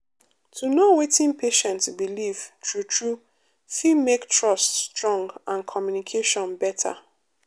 to know wetin patient believe true true fit make trust strong and communication better.